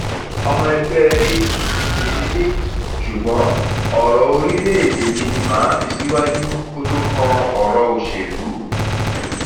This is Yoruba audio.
ọmọ ẹgbẹ [apc sì ni mí ṣùgbọn ọrọ orílẹèdè mi ni mà á fi síwájú kó tó kan ọrọ òṣèlú